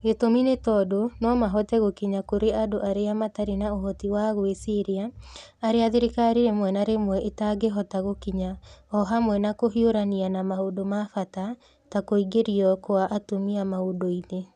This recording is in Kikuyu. Gĩtũmi nĩ tondũ no mahote gũkinya kũrĩ andũ arĩa matarĩ na ũhoti wa gwĩciria, arĩa thirikari rĩmwe na rĩmwe ĩtangĩhota gũkinya, o hamwe na kũhiũrania na maũndũ ma bata ta kũingĩrio kwa atumia maũndũ-inĩ.